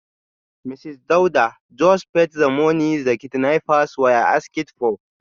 Mrs Dauda just paid the money the kidnappers were asking for.